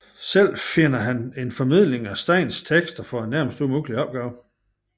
Selv finder han en formidling af Steins tekster for en nærmest umulig opgave